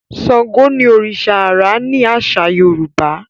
Ṣàngó ní oriṣa ãrá ni aṣa Yorùbá